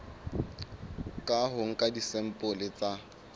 ka ho nka disampole tsa